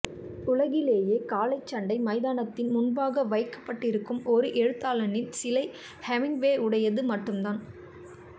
உலகிலே காளைச்சண்டை மைதானத்தின் முன்பாக வைக்கபட்டிருக்கும் ஒரு எழுத்தாளனின் சிலை ஹெமிங்வேயுடையது மட்டும்தான்